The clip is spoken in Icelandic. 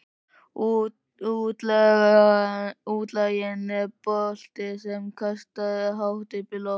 Útlaginn er bolti sem kastað er hátt upp í loftið.